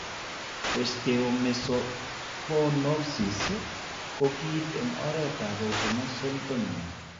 Osteomesopyknosis ko kiinti eng' oretap autosomal dominant.